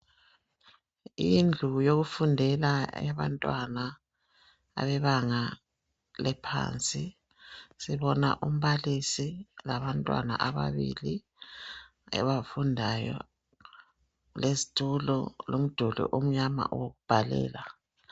Indlu yokufundela eyabantwana bebanga eliphansi. Sibona umbalisi labantwana ababili abafundayo lezitulo, lomduli omnyama owokubhalela.